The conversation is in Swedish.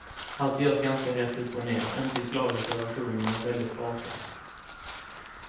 Allt görs ganska rätt upp och ner, inte i slaviska versioner men väldigt raka.